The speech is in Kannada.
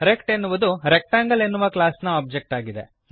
ರೆಕ್ಟ್ ಎನ್ನುವುದು ರೆಕ್ಟಾಂಗಲ್ ಎನ್ನುವ ಕ್ಲಾಸ್ ನ ಒಬ್ಜೆಕ್ಟ್ ಆಗಿದೆ